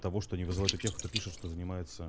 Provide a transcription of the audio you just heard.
того что они вызывают у тех кто пишет что занимаются